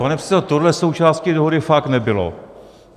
Pane předsedo, tohle součástí dohody fakt nebylo.